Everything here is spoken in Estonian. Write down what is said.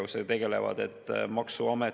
Miks te tahate selle madala maksumääraga seda soodustada?